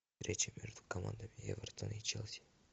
встреча между командами эвертон и челси